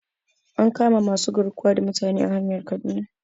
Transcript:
An kama masu garkuwa da mutane a hanyar kaduna